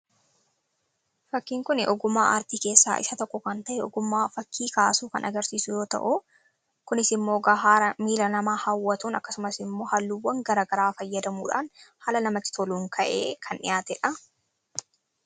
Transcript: fakkiin kuni ogumaa aartii keessaa isa tokko kan ta'e ogumaa fakkii kaasuu kan agarsiisuyoo ta'u kunis immoo gahaara miila namaa haawwatuun akkasumas immoo halluwwan gara garaa fayyadamuudhaan haala namatti toluun ka'ee kan dhiyaatee dha